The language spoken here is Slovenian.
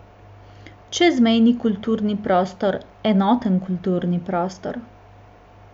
Čezmejni kulturni prostor, enoten kulturni prostor.